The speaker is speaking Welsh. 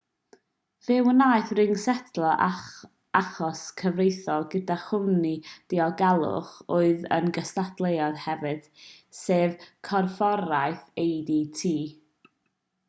fe wnaeth ring setlo achos cyfreithiol gyda chwmni diogelwch oedd yn gystadleuydd hefyd sef corfforaeth adt